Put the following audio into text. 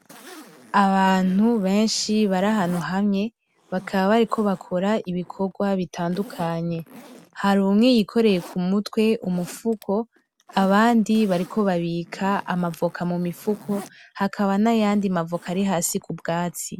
abantu benshi bari ahantu hamwe bakaba bariko bakora ibikorwa bitandukanye hari umwe yikoreye kumutwe umufuko abandi bariko babika amavoka mumifuko hakaba nayandi mavoka ari hasi kubwatsi